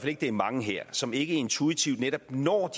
ikke det er mange her som ikke intuitivt netop når